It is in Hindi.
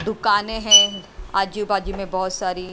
दुकानें हैं आजू बाजू में बहुत सारी--